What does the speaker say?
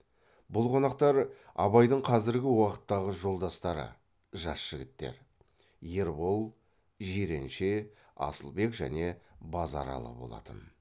бұл қонақтар абайдың қазіргі уақыттағы жолдастары жас жігіттер ербол жиренше асылбек және базаралы болатын